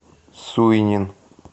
суйнин